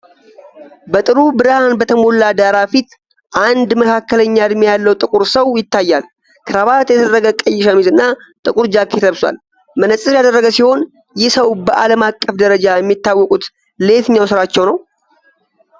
በጥሩ ብርሃን በተሞላ ዳራ ፊት አንድ መካከለኛ እድሜ ያለው ጥቁር ሰው ይታያል። ክራባት የተደረገ ቀይ ሸሚዝ እና ጥቁር ጃኬት ለብሷል። መነፅር ያደረገ ሲሆን፣ ይህ ሰው በዓለም አቀፍ ደረጃ የሚታወቁት ለየትኛው ስራቸው ነው?